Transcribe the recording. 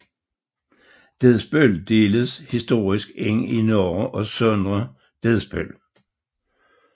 Dedsbøl deles historisk ind i Nørre og Sønder Dedsbøl